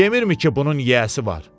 Demirmi ki, bunun yiyəsi var?